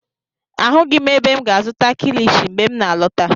Ahụghị m ebe m ga-azụta kilishi mgbe m n'alọta.